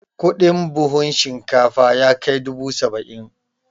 Kudin buhun shinkafa yakai dubu saba'in